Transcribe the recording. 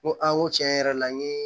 N ko a n ko tiɲɛ yɛrɛ la n ye